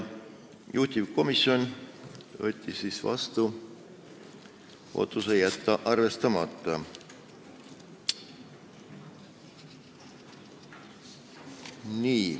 Juhtivkomisjon võttis vastu otsuse jätta ettepanek arvestamata.